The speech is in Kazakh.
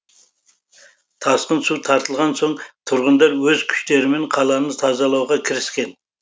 тасқын су тартылған соң тұрғындар өз күштерімен қаланы тазалауға кіріскен